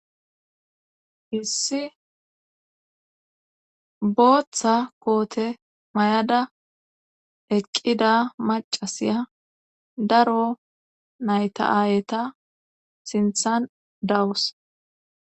hissi booththa koote may7ada eqqida macasiya daro nayta7aayeta sinthan dawus